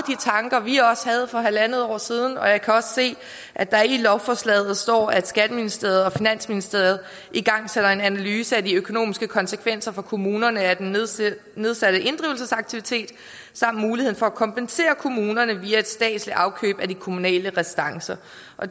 tanker vi også havde for halvandet år siden og jeg kan også se at der i lovforslaget står at skatteministeriet og finansministeriet igangsætter en analyse af de økonomiske konsekvenser for kommunerne af den nedsatte nedsatte inddrivelsesaktivitet samt muligheden for at kompensere kommunerne via et statsligt afkøb af de kommunale restancer